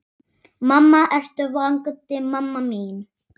Mamma, ertu vakandi mamma mín?